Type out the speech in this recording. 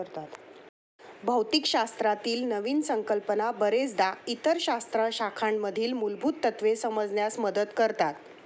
भौतिकशास्त्रातील नवीन संकल्पना बरेचदा इतर शास्त्रशाखांमधील मूलभूत तत्वे समजण्यास मदत करतात.